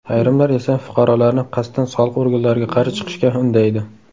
Ayrimlar esa fuqarolarni qasddan soliq organlariga qarshi chiqishga undaydi.